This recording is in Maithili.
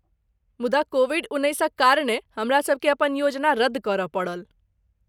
मुदा कोविड उन्नैसक कारणे हमरासबकेँ अपन योजना रद्द करय पड़ल।